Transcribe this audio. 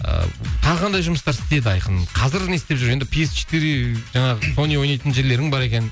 ыыы тағы қандай жұмыстар істеді айқын қазір не істеп жүр енді пи ес четыре жаңағы сони ойнайтын жерлерің бар екен